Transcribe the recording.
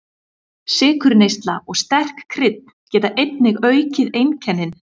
Sykurneysla og sterk krydd geta einnig aukið einkennin.